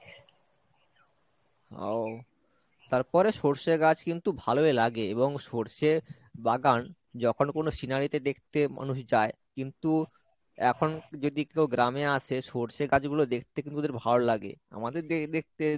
ও , তারপরে সর্ষে গাছ কিন্তু ভালোই লাগে এবং সর্ষে বাগান যখন কোনো scenery তে দেখতে মানুষ যায় কিন্তু এখন যদি কেউ গ্রামে আসে সর্ষে গাছগুলো দেখতে কিন্তু ওদের ভালো লাগে আমাদের দে~ দেখতে